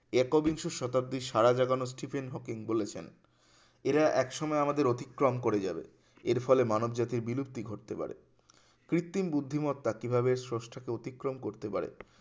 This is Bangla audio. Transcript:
একবিংশ শতাব্দীর সারা জাগানো স্টিফেন হকিং বলেছেন এরা একসময় আমাদের অতিক্রম করে যাবে এর ফলে মানবজাতির বিলুপ্তি ঘটতে পারে কৃত্রিম বুদ্ধিমত্তা কিভাবে ষষ্ঠকে অতিক্রম করতে পারে